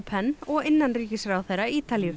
pen og innanríkisráðherra Ítalíu